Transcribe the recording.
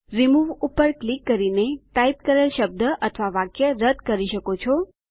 remove પર click કરીને type કરેલ શબ્દ અથવા વાક્ય રદ કરી શકો છો